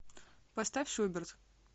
поставь шуберт